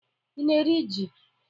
Ị na-eri ji?